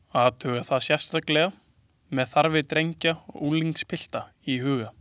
Athuga það sérstaklega með þarfir drengja og unglingspilta í huga.